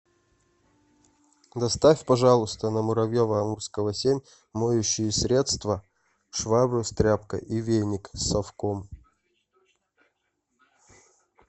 доставь пожалуйста на муравьева амурского семь моющие средства швабру с тряпкой и веник с совком